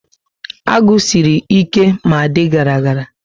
Agụ siri ike ma dị gara gara